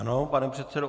Ano, pane předsedo.